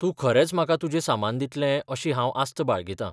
तूं खरेंच म्हाका तुजें सामान दितलें अशी हांव आस्त बाळगितां.